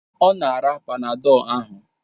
Ọ na-ara Panadọlu ahụ